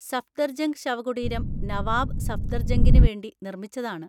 സഫ്ദർജംഗ് ശവകുടീരം നവാബ് സഫ്‌ദർജംഗിന് വേണ്ടി നിർമ്മിച്ചതാണ്.